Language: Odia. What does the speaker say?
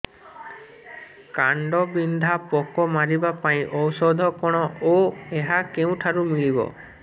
କାଣ୍ଡବିନ୍ଧା ପୋକ ମାରିବା ପାଇଁ ଔଷଧ କଣ ଓ ଏହା କେଉଁଠାରୁ ମିଳିବ